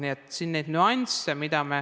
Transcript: Nii et siin on nüansse.